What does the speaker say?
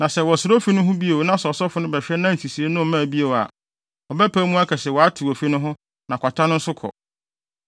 “Na sɛ wɔsra ofi no ho bio na ɔsɔfo no bɛhwɛ na nsisii no mmaa bio a, ɔbɛpae mu aka se wɔatew ofi no ho na kwata no nso kɔ.